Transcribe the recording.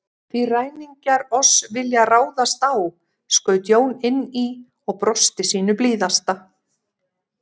Því ræningjar oss vilja ráðast á, skaut Jón inn í og brosti sínu blíðasta.